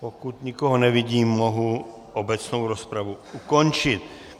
Pokud nikoho nevidím, mohu obecnou rozpravu ukončit.